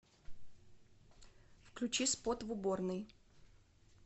включи спот в уборной